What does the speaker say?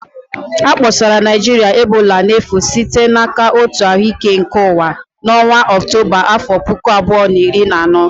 A kpọsara Naịjirịa ebola n'efu site n'aka Òtù Ahụ Ike Ụwa (WHO) n'ọnwa Ọktọba afọ puku abuo na iri na ano